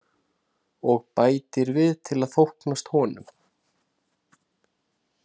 Og bætir við til að þóknast honum.